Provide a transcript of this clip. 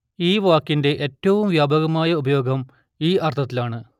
ഈ വാക്കിന്റെ ഏറ്റവും വ്യാപകമായ ഉപയോഗം ഈ അർത്ഥത്തിലാണ്